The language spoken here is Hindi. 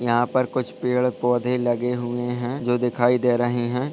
यहा पर कुछ पेड़-पौधे लगे हुए है जो दिखाई दे रहे है।